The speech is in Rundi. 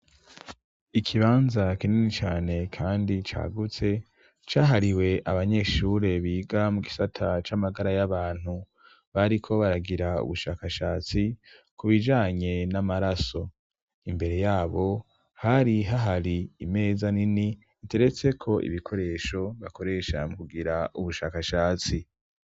Ikibanza kinini cane, kandi cagutse cahariwe abanyeshure biga mu gisata c'amagara y'abantu bariko baragira ubushakashatsi ku bijanye n'amaraso imbere yabo hari hahari imeza nini iteretseko ibikoresho bakoree shahamu kugira ubushakashatsi.